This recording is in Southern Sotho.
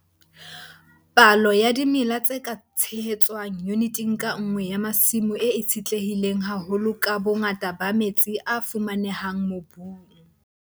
Palo ya dimela tse ka tshehetswang yuniteng ka nngwe ya masimo e itshetlehile haholo ka bongata ba metsi a fumanehang mobung.